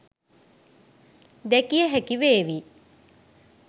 දැකිය හැකි වේවි.